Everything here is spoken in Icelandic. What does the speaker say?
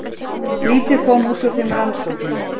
Lítið kom út úr þeim rannsóknum.